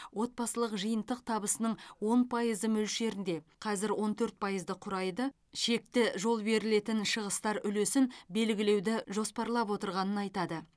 отбасылық жиынтық табысының он пайызы мөлшерінде қазір он төрт пайызды құрайды шекті жол берілетін шығыстар үлесін белгілеуді жоспарлап отырғанын айтады